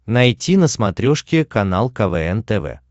найти на смотрешке канал квн тв